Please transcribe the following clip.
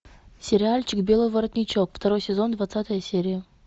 сериальчик белый воротничок второй сезон двадцатая серия